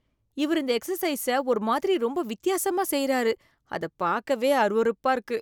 இவர் இந்த எக்சசைஸ்ச ஒரு மாதிரி ரொம்ப வித்தியாசமா செய்யறாரு, அத பாக்கவே அருவருப்பா இருக்கு.